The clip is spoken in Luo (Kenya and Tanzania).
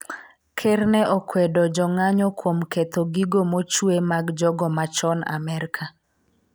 ker ne okwedo jong'anyo kuom ketho gigo mochuwe mag jogo machon Amerka